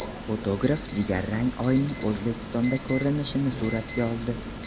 Fotograf jigarrang Oyning O‘zbekistondan ko‘rinishini suratga oldi .